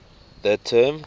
the term